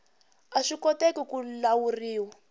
a swi koteki ku lawuriwa